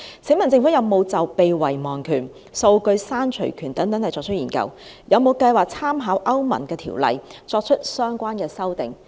請問政府有否就被遺忘權、數據刪除權等進行研究，有沒有計劃參考歐盟的條例而作出相關修訂？